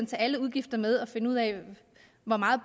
tage alle udgifter med og finde ud af hvor meget